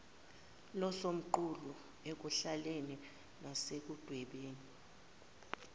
losomqulu ekuhleleni nasekudwebeni